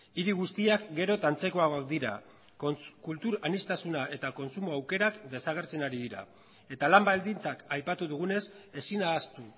hiri guztiak gero eta antzekoagoak dira kultur aniztasuna eta kontsumo aukerak desagertzen ari dira eta lan baldintzak aipatu dugunez ezin ahaztu